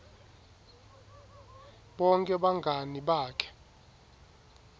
bonkhe bangani bakhe